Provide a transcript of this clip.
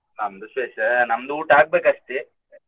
ನಮ್ದು ವಿಶೇಷ, ನಮ್ದು ಊಟ ಆಗ್ಬೇಕು ಅಷ್ಟೇ.